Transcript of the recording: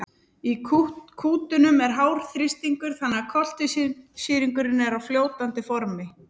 í kútunum er hár þrýstingur þannig að koltvísýringurinn er á fljótandi formi